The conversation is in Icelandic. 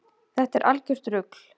Þetta er algjört rugl